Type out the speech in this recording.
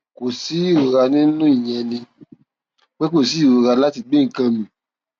kò sí ìrora ní inú ìyẹn ni pé kò sí sí ìrora láti gbé nǹkan mì